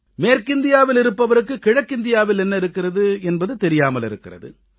மேற்கிந்தியாவில் இருப்பவருக்கு கிழக்கிந்தியாவில் என்ன இருக்கிறது என்பது தெரியாமலிருக்கிறது